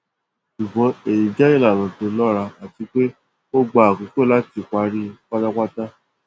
ṣùgbọn èyí jẹ ìlànà tó lọra àti pé ó gba àkókò láti parẹ pátápátá